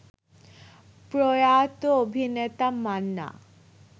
প্রয়াত অভিনেতা মান্না